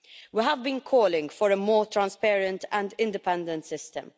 We have been calling for a more transparent and independent system.